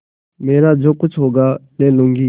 मेरा जो कुछ होगा ले लूँगी